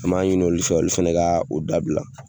An m'a ɲini olu fɛ, olu fɛnɛ ka o dabila.